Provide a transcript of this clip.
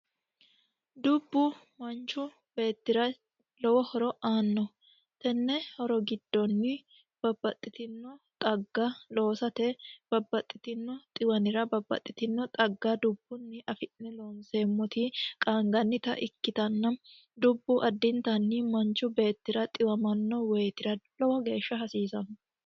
Dubbu manichu beettira lowo horo aanno tenne horo giddoni babbaxitinno xagga loosate babbaxitinno xiwanira babbaxitinno xagga dubbuni afi'ne looniseemoti qaanigannita ikkitanna dubbu addinittanni manichi beetira xiwamanno woytira lowo geesha hasiisanno.